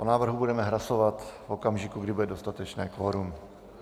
O návrhu budeme hlasovat v okamžiku, kdy bude dostatečné kvorum.